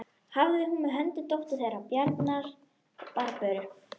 Hafði hún með höndum dóttur þeirra Bjarnar, Barböru.